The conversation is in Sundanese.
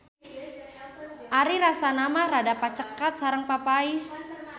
Ari rasana mah rada pacaket sareng papais.